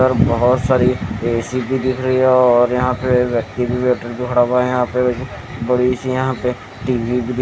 बहोत सारी ऐ_सी भी दिख रही हो और यहां पे व्यक्ति भी बैठा व खड़ा हुआ है यहां पे बड़ी सी यहां पे टी_वी भी दि--